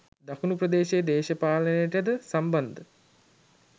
දකුණ ප්‍රදේශයේ දේශපාලනයටද සම්බන්ධ